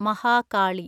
Mahakali